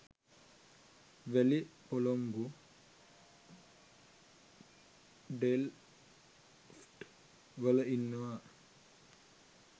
වැලි පොලොංගු ඩෙල්ෆ්ට් වල ඉන්නවා.